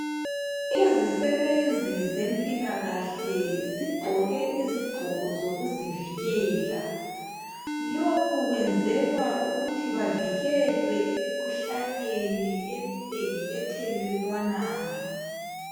Izisebenzi zempilakahle zigqoke izigqoko zokuzivikela. Lokhu kwenzelwa ukuthi bavikelwe emikhuhlaneni eminengi ethelelwanayo.